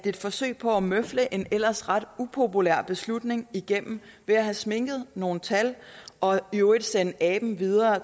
et forsøg på at møfle en ellers ret upopulær beslutning igennem ved at sminke nogle tal og i øvrigt sende aben videre